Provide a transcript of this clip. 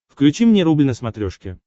включи мне рубль на смотрешке